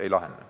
Ei lahene.